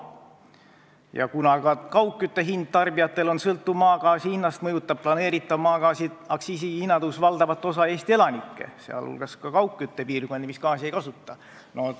Ja kuna ka kaugkütte tasu tarbijatele sõltub maagaasi hinnast, siis mõjutab planeeritav maagaasi aktsiisimäära tõus valdavat osa Eesti elanikke, sh kaugküttepiirkondi, kus gaasi ei kasutata.